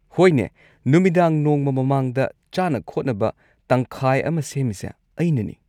ꯍꯣꯏꯅꯦ, ꯅꯨꯃꯤꯗꯥꯡ ꯅꯣꯡꯃ ꯃꯃꯥꯡꯗ ꯆꯥꯅ ꯈꯣꯠꯅꯕ ꯇꯪꯈꯥꯏ ꯑꯃ ꯁꯦꯝꯃꯤꯁꯦ ꯑꯩꯅꯅꯤ꯫